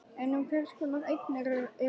En um hvers konar eignir er að ræða?